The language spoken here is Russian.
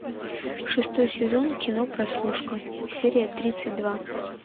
шестой сезон кино прослушка серия тридцать два